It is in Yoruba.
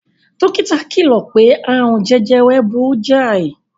Dókítà kìlò pé aààrùn jejere burú jáì.